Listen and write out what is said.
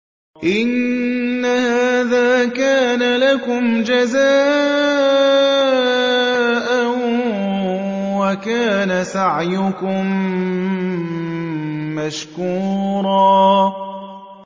إِنَّ هَٰذَا كَانَ لَكُمْ جَزَاءً وَكَانَ سَعْيُكُم مَّشْكُورًا